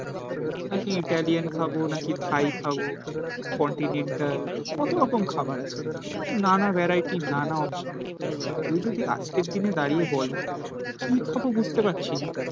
নাকি ইটালিয়ান খাবো নাকি থাই খাবো কন্টিনেন্টাল কত রকম খাবার আছে নানা ভ্যারাইটি নানা অপশন কেউ যদি আজকের দিনে দাঁড়িয়ে বলে কি খাব বুঝতে পারছি না.